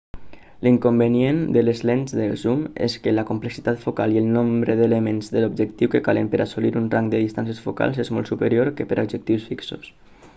l'inconvenient de les lents de zoom és que la complexitat focal i el nombre d'elements de l'objectiu que calen per assolir un rang de distàncies focals és molt superior que per a objectius fixos